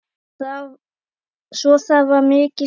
Svo það var mikið stuð.